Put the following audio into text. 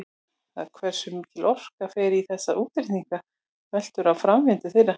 Það hversu mikil orka fer í þessa útreikninga veltur á framvindu þeirra.